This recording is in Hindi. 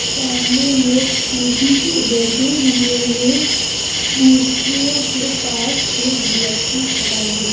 सामने लोग कुर्सी पे बैठे हुए है मूर्तियो के पास एक व्यक्ति खड़ा है।